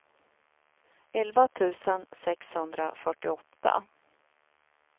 elva tusen sexhundrafyrtioåtta